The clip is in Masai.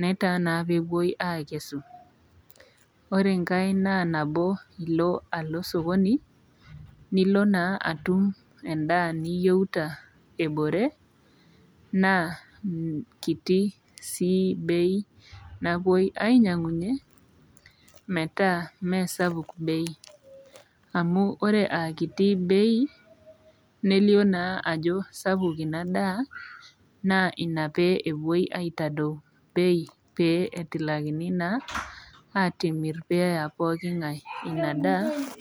netaa naa peepuoi aakesu. Ore engai naa nabo ilo alo sokoni nilo naa atum endaa niyouta ebore naa [nh] kiti sii bei napuoi ainyang'unye metaa mee sapuk bei. Amu ore aakiti bei nelio naa ajo sapuk ina daa naa ina pee epuoi aitadou bei pee etilakini naa atimirr peeya pooking'ai ina daa.